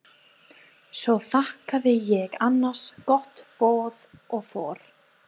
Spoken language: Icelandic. Svo þakkaði ég annars gott boð og fór.